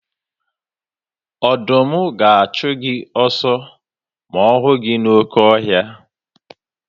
Ọdụm ga-achụ gị ọsọ ma ọ hụ gị n'oke ọhịa.